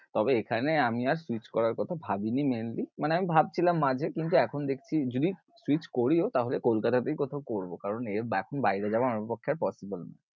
তবে এখানে আমি আর switch করার কথা ভাবিনি mainly মানে আমি ভাবছিলাম আগে কিন্তু এখন দেখছি যদি, switch করিও তাহলে কলকাতাতেই কোথাও করবো কারণ এর এখন বাইরে যাওয়া আমার পক্ষে আর possible নয়।